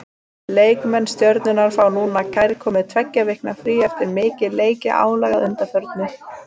Leikmenn Stjörnunnar fá núna kærkomið tveggja vikna frí eftir mikið leikjaálag að undanförnu.